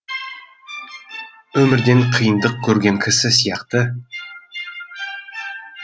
өмірден қиындық көрген кісі сияқты